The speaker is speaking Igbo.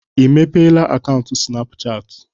I mepeela akaụntụ Sịnapụchatị?